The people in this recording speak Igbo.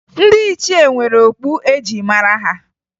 Ndị ichie nwere okpu e ji mara ha